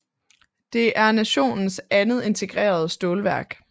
Det er nationens andet integrerede stålværk